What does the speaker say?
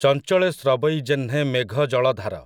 ଚଞ୍ଚଳେ ସ୍ରବଇ ଯେହ୍ନେ ମେଘ ଜଳଧାର ।